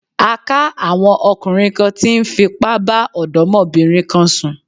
A ká àwọn ọkùnrin kan tí ń fipá bá ọ̀dọ́mọbìnrin kan sùn.